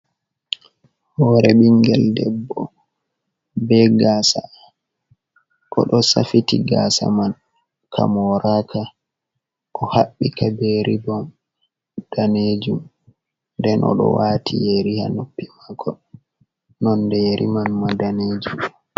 Horre ɓingel debbo be gasa oɗo safiti gasa man ka moraka o haɓbi ka be ribon danejum nden oɗo wati yeri ha noppi mako nonde yeri man ma danejum.